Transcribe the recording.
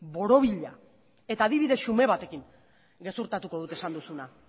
borobila eta adibide xume batekin gezurtatuko dut esan duzuna